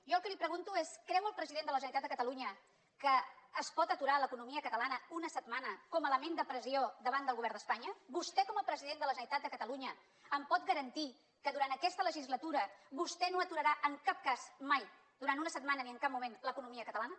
jo el que li pregunto és creu el president de la generalitat de catalunya que es pot aturar l’economia catalana una setmana com a element de pressió davant del govern d’espanya vostè com a president de la generalitat de catalunya em pot garantir que durant aquesta legislatura vostè no aturarà en cap cas mai durant una setmana ni en cap moment l’economia catalana